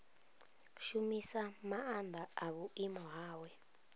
shumisa maanḓa a vhuimo hawe